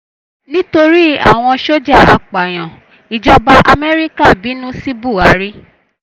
nítorí àwọn sójà apààyàn ìjọba amẹ́ríkà bínú sí buhari